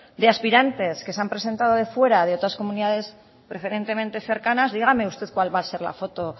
de aspirantes que se han presentado de fuera de otras comunidades preferentemente cercanas dígame usted cuál va a ser la foto